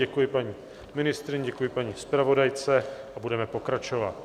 Děkuji paní ministryni, děkuji paní zpravodajce a budeme pokračovat.